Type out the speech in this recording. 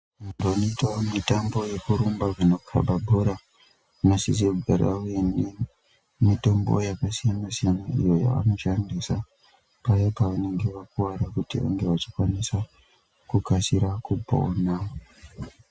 Panoitwa mutambo wekurumba kana kukaba bhora unosisa kugara uine mutombo yakasiyana -siyana iyo yavanoshandisa paya pavanenge vakuwara kuti vange vachikwanisa kukasira kupona.